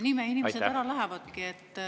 Nii me inimesed ära lähevadki.